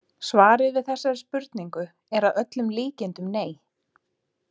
Svarið við þessari spurningu er að öllum líkindum nei.